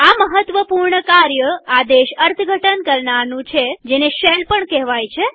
આ મહત્વપૂર્ણ કાર્ય આદેશ અર્થઘટન કરનારનું છેજેને શેલ પણ કેહવાય છે